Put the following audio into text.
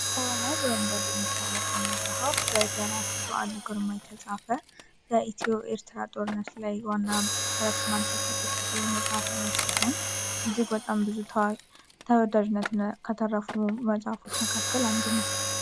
ኮሮማን በመባል የሚታወቀው መጽሐፍ በደራሲ በአሉ ግርማ የተፃፈ በኢትዮ ኤርትራ ጦርነት ላይ መሰረት አድርጎ የተፃፈ የመጽሐፍ አይነት ሲሆን እጅግ በጣም ታዋቂ ተወዳጅነት መጽሐፎች ውስጥ አንዱ ነው።